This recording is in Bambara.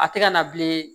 A tɛ ka na bilen